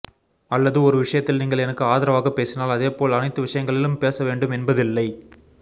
அல்லது ஒரு விஷயத்தில் நீங்கள் எனக்கு ஆதரவாக பேசினால் அதே போல் அனைத்து விஷயங்களில் பேச வேண்டும் என்பதில்லை